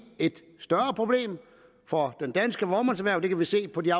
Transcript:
et større problem for det danske vognmandserhverv det kan vi se på de